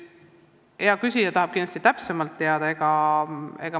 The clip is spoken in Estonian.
Hea küsija tahab sellest kindlasti täpsemalt teada.